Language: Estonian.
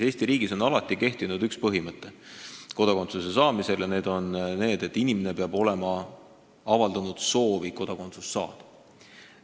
Eesti riigis on alati kehtinud üks põhimõte kodakondsuse saamisel ja see on see, et inimene peab olema avaldanud soovi kodakondsust saada.